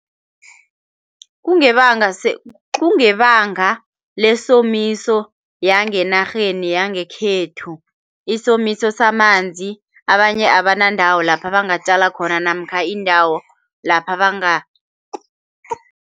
Kungebanga kungebanga lesomiso yangenarheni yangekhethu, isomiso samanzi. Abanye abanandawo lapha bangatjala khona namkha iindawo lapha